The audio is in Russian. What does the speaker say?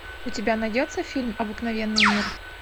у тебя найдется фильм обыкновенный мир